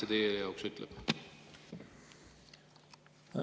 Mida see teie jaoks ütleb?